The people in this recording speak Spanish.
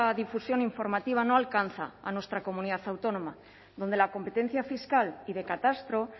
difusión informativa no alcanza a nuestra comunidad autónoma donde la competencia fiscal y de catastro